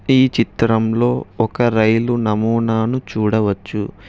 ఈ చిత్రంలో ఒక రైలు నమోనాలు చూడవచ్చు.